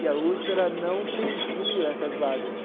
E a USP, ela não preenchia essas vagas.